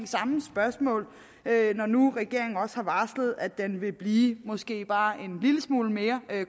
samme spørgsmål når nu regeringen også har varslet at den vil blive måske bare en lille smule mere